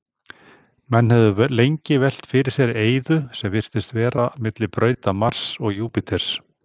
Menn höfðu lengi velt fyrir sér eyðu sem virtist vera milli brauta Mars og Júpíters.